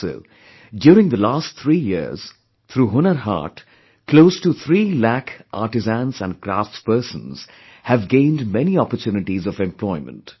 Also, during the last three years, through Hunar Haat, close to three lakh artisans & crafts persons have gained many opportunities of employment